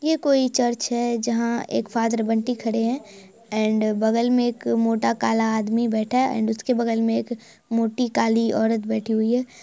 यह कोई चर्च है जहाँ एक फादर बंटी खड़े है एंड बगल में एक मोटा काला आदमी बैठा है और इसके बगल में मोटी काली औरत बैठी हुई है।